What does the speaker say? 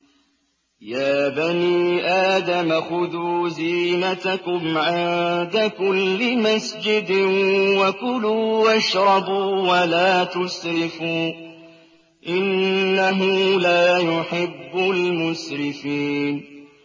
۞ يَا بَنِي آدَمَ خُذُوا زِينَتَكُمْ عِندَ كُلِّ مَسْجِدٍ وَكُلُوا وَاشْرَبُوا وَلَا تُسْرِفُوا ۚ إِنَّهُ لَا يُحِبُّ الْمُسْرِفِينَ